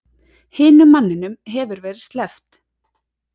Hinum manninum hefur verið sleppt